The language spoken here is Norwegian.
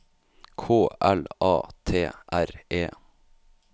K L A T R E